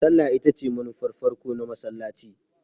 Sallah ita ce manufar farko na masallaci.